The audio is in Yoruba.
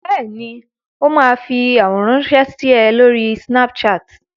Bẹ́ẹ̀ ni, ó máa fi àwòrán ránṣẹ́ sí ẹ lórí Snapchat.